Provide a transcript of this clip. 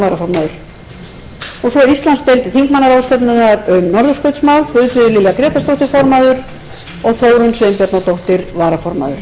varaformaður björn valur gíslason íslandsdeild þingmannaráðstefnunnar um norðurskautsmál formaður guðfríður lilja grétarsdóttir varaformaður þórunn sveinbjarnardóttir